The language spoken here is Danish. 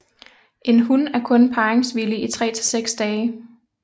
En hun er kun parringsvillig i tre til seks dage